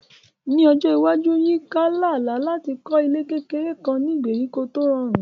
Ní ọjọ́ iwájú, Yinka ń lá àlá láti kọ́ ilé kékeré kan ní ìgbèríko tí ó rọrùn.